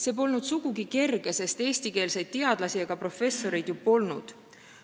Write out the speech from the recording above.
See polnud sugugi kerge, sest eesti keelt oskavaid teadlasi ega professoreid ju polnud.